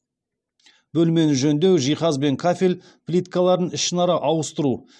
бөлмені жөндеу жиһаз бен кафель плиткаларын ішінара ауыстыру